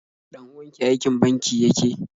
Ɗan uwanki aikin banki yake?